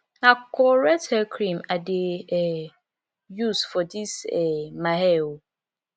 na correct hair cream i dey um use for dis um my hair o